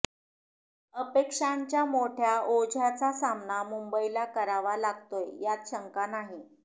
अपेक्षांच्या मोठ्या ओझ्याचा सामना मुंबईला करावा लागतोय यात शंका नाही